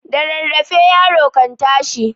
Da rarraafe yaro kan tashi.